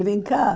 Brincar?